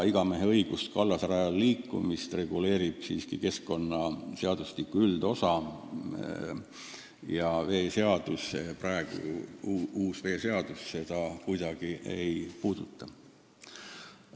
Igameheõigust ka kallasrajal liikuda reguleerib keskkonnaseadustiku üldosa seadus, uus veeseadus seda kuidagi ei puuduta.